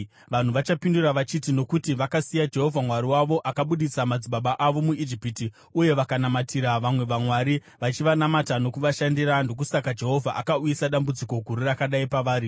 Vanhu vachapindura vachiti, ‘Nokuti vakasiya Jehovha Mwari wavo akabudisa madzibaba avo muIjipiti, uye vakanamatira vamwe vamwari, vachivanamata nokuvashandira, ndokusaka Jehovha akauyisa dambudziko guru rakadai pavari.’ ”